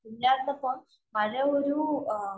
ഇല്ലാത്തപ്പോ മഴ ഒരു